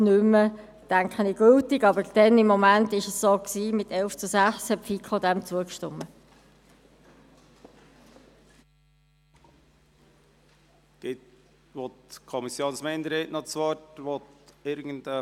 Der BiK ist eine detaillierte Auflistung der effektiven Kosten der letzten Vergleichsprüfung vorzutate zu informieren.